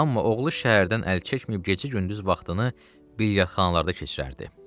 Amma oğlu şəhərdən əl çəkməyib gecə-gündüz vaxtını bilyardxanalarda keçirərdi.